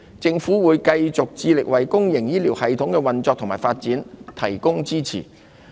政府會繼續致力為公營醫療系統的運作和發展提供支持。